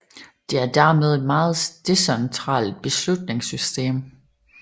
Det er dermed et meget decentralt beslutningssystem